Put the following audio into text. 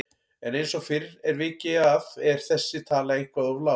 En eins og fyrr er vikið að er þessi tala eitthvað of lág.